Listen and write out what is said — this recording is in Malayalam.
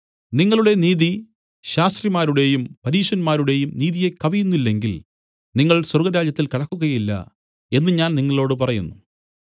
നിങ്ങളുടെ നീതി ശാസ്ത്രിമാരുടെയും പരീശന്മാരുടെയും നീതിയെ കവിയുന്നില്ലെങ്കിൽ നിങ്ങൾ സ്വർഗ്ഗരാജ്യത്തിൽ കടക്കുകയില്ല എന്നു ഞാൻ നിങ്ങളോടു പറയുന്നു